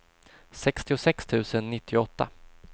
sextiosex tusen nittioåtta